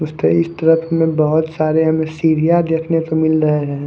कुछ थेई इस ट्रक में हमे बहोत सारी हमे सीढ़िया देखने को मिल रहा है।